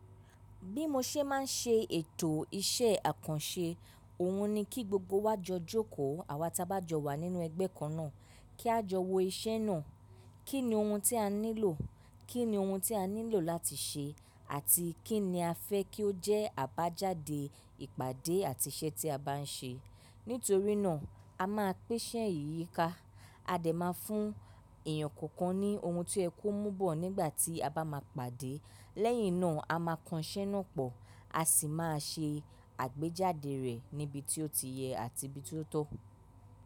Bí mo ṣe ma n se ètò iṣẹ́ àkànṣe, òhun ni kí gbogbo wa jọ jókòó àwa ta bá jọ wà nínú ẹgbẹ́ kan náà kí á jọ wo iṣẹ́ náà. Kí ni ohun tí a nílò? Kí ni ohun tí a nílò láti ṣe àti kín ni a fẹ́ kí ó jẹ́ àbájáde ìpàdé àti iṣẹ́ tí a bá n ṣe? Nítorí náà a máa pin iṣè yí yíká. A dẹ̀ máa fún èèyàn kọ̀ọ̀kan ní ohun tí ẹ kó mú bọ̀ nígbà tí a bá máa pàdé. Lẹ́yìn náà a máa kan iṣẹ́ náà pọ̀, a sì máa se àgbéjáde rẹ̀ níbi tí ó ti yẹ àti ibi tí ó tọ́.